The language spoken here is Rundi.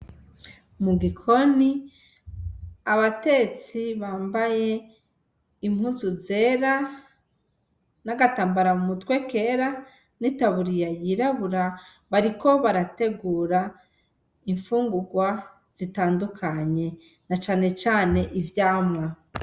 Mu gikoni abatetsi bambaye impuzu zera n'agatambara mu mutwe kera n'itaburiya yirabura bariko barategura imfungurwa zitandukanye na canecane ivyamwa.